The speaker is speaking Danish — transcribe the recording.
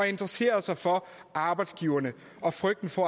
interessere sig for arbejdsgiverne og frygten for